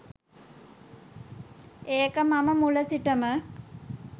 ඒක මම මුල සිටම.